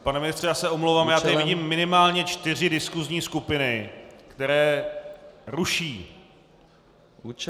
Pane ministře, já se omlouvám, já teď vidím minimálně čtyři diskusní skupiny, které ruší.